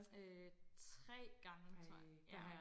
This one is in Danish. Øh 3 gange tror jeg ja